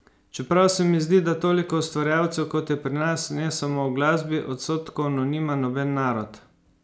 Čeprav se mi zdi, da toliko ustvarjalcev, kot je pri nas, ne samo v glasbi, odstotkovno nima noben narod.